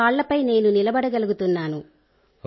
నా కాళ్ళపై నేను నిలబడగలుగుతున్నాను